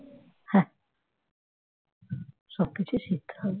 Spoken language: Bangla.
সবকিছু শিখতে হবে